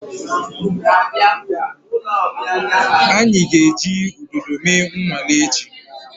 Anyị ga-eji udodo mee nnwale echi.